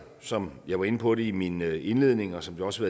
som jeg var inde på i min indledning og som det også